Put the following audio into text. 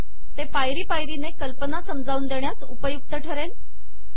ते पायरी पायरीने कल्पना समजावून देण्यास उपयुक्त ठरेल